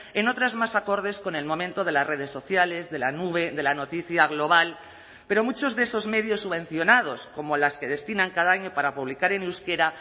en otras más acordes con el momento de las redes sociales de la nube de la noticia global pero muchos de esos medios subvencionados como las que destinan cada año para publicar en euskera